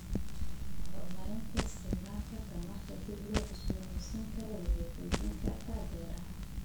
Horumarinta isticmaalka tamarta dib loo cusboonaysiin karo waxay xoojin kartaa beeraha.